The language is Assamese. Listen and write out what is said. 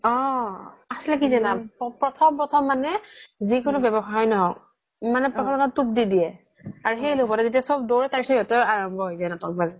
অ আচ্ল্তে কি প্ৰথম প্ৰথম মানে যিকোনো ব্যৱসায় ন্হ্ক মানে দি দিয়ে আৰু সেই লোভতে চ্'ব দৈওৰে তাৰ পিছ্ত সিহ্তৰ আৰাম্ৱ্য হয় যাই নাতক বাজ